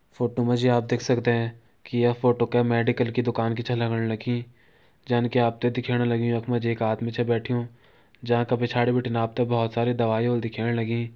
फोटो मा जी आप देख सकदे की ये फोटो कै मेडिकल की दुकान की छन लगण लगीं जैन का आप त दिखेण लग्युं यख मा जी एक आदमी छा बैठ्युं जांका पिछाड़ी बिटिन आप त बहोत सारी दवाई होली दिखेण लगीं।